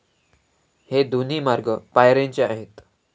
हे दोन्ही मार्ग पायऱ्यांचे आहेत.